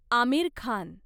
Aamir Khan